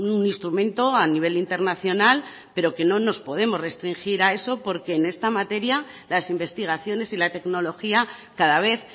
un instrumento a nivel internacional pero que no nos podemos resistir a eso porque en esta materia las investigaciones y la tecnología cada vez